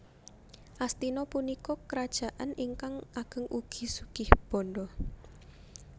Astina punika krajaan ingkang ageng ugi sugih bandha